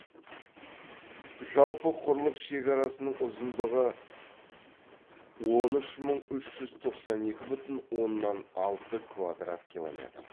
жалпы құрлық шекарасының ұзындығы он үш мың үш жүз тоқсан екі бүтін оннан алты квадрат километр